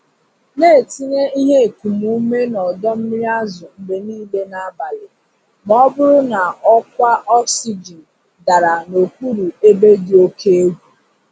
Na-etinye ihe ekum ume na ọdọ mmiri azụ mgbe niile n'abalị ma ọ bụrụ na ọkwa oxygen dara n'okpuru ebe dị oke egwu.